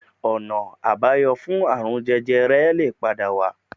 Ọ̀nà àbáyọ fún ààrun jẹjẹrẹ lè padà wà